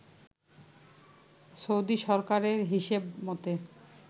Saudi সরকারের হিসেব মতে